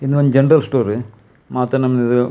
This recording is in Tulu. ಉಂದು ಒಂಜಿ ಜನರಲ್ ಸ್ಟೋರ್ .]